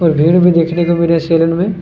और भीड़ मे देखना मेरे सेलून मे--